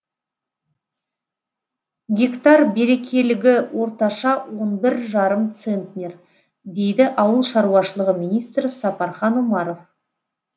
гектар берекелігі орташа он бір жарым центнер дейді ауыл шаруашылығы министрі сапархан омаров